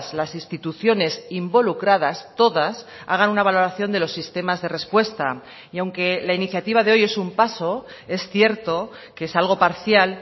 las instituciones involucradas todas hagan una valoración de los sistemas de respuesta y aunque la iniciativa de hoy es un paso es cierto que es algo parcial